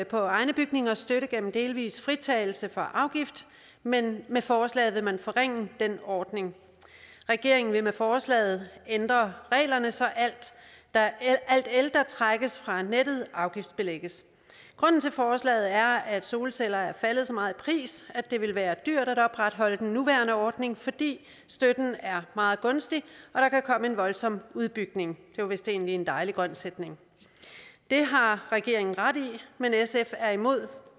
på egne bygninger støtte gennem delvis fritagelse for afgift men med forslaget vil man forringe den ordning regeringen vil med forslaget ændre reglerne så alt el der trækkes fra nettet afgiftsbelægges grunden til forslaget er at solceller er faldet så meget i pris at det ville være dyrt at opretholde den nuværende ordning fordi støtten er meget gunstig og der kan komme en voldsom udbygning det var vist egentlig en dejlig grøn sætning det har regeringen ret i men sf er imod